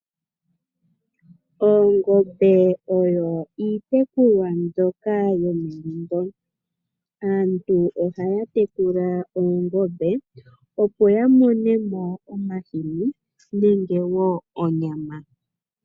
Oongombe oyo iitekulwa mbyoka yomegumbo. Aantu ohaya tekula oongombe opo ya mone mo omahini nenge wo onyama.